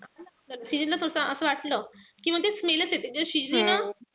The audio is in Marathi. मग शिजलं फक्त असं वाटलं कि मंग ते smell च येते. जर शिजली ना,